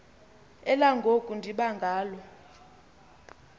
elangoku ndiba ngalala